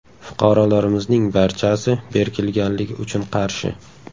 Fuqarolarimizning barchasi berkilganligi uchun qarshi.